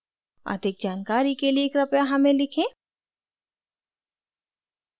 अधिक जानकारी के लिए कृपया हमें लिखें